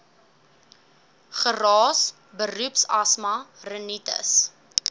geraas beroepsasma rinitis